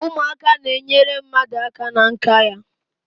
Ụmụaka n'enyere mmadụ aka na nka ya